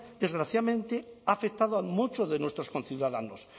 desgraciadamente ha afectado a muchos de nuestros conciudadanos